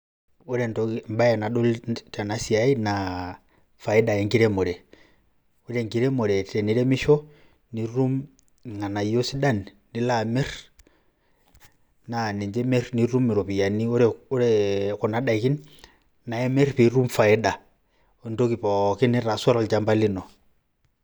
Ore embae nadolita tena siai naa faida enkiremore. Ore enkiremore teniremisho nitum irng'anayio sidan nilo amir, naa ninje imir nitum iropiani ore ore kuna daikin nae imir piitum faida entoki pookin nitaasua tolchamba lino.